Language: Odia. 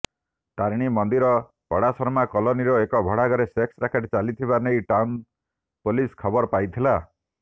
ତାରିଣୀ ମନ୍ଦିର ପଡାଶର୍ମା କଲୋନୀର ଏକ ଭଡାଘରେ ସେକ୍ସ ରାକେଟ ଚାଲିଥିବା ନେଇ ଟାଉନ ପୋଲସ ଖବର ପାଇଥିଲା